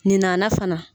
Nin nana fana